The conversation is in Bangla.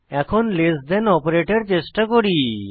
এখন লেস থান অপারেটর চেষ্টা করি